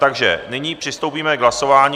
Takže nyní přistoupíme k hlasování.